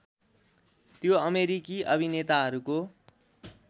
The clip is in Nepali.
त्यो अमेरिकी अभिनेताहरूको